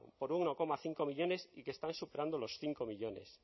por uno coma cinco millónes y que están superando los cinco millónes